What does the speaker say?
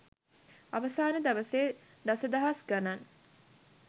අවසාන දවසේ දසදහස් ගණන්